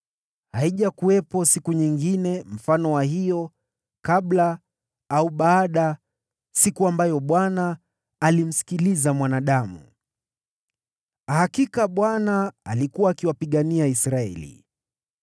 Haijakuwepo siku nyingine kama hiyo kabla au baada, siku ambayo Bwana alimsikiliza mwanadamu. Hakika Bwana alikuwa akiwapigania Israeli.